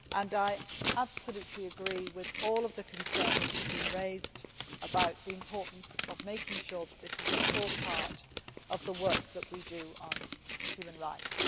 I agree with all the concerns that have been raised about the importance of making sure that this is a core part of the work that we do on human rights.